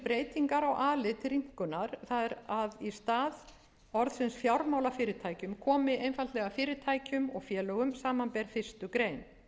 breytingar á a lið til rýmkunar það er að í stað orðsins fjármálafyrirtækjum komi einfaldlega fyrirtækjum og félögum samanber fyrstu grein